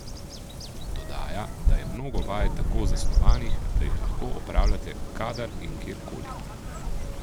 Dodaja, da je mnogo vaj tako zasnovanih, da jih lahko opravljate kadar in kjer koli.